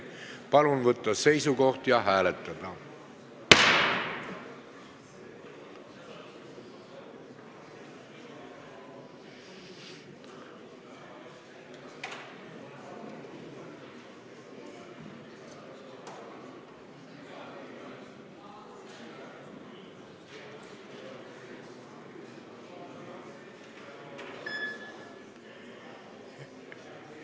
Palun võtta seisukoht ja hääletada!